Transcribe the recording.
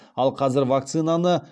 ал қазір вакцинаны